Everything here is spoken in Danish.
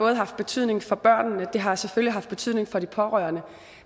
har haft betydning for børnene og det har selvfølgelig haft betydning for de pårørende